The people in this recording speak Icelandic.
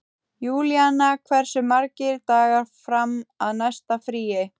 Júlíanna, hversu margir dagar fram að næsta fríi?